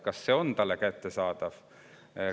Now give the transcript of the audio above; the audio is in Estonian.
Kas see on talle kättesaadav?